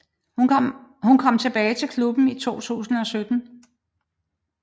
Hun kom tilbage til klubben i 2017